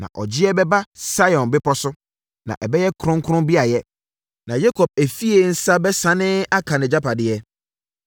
Na ɔgyeɛ bɛba Sion bepɔ so na ɛbɛyɛ kronkron beaeɛ, na Yakob efie nsa bɛsane aka nʼagyapadeɛ.